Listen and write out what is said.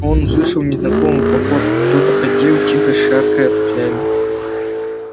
он услышал незнакомую походку кто-то ходил тихо шаркая туфлями